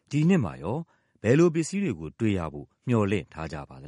ဒီနှစ်ပြပွဲမှာ ဘယ်လိုပစ္စည်းတွေကို တွေ့ရဖို့ မျှော်လင့်ထားကြပါသ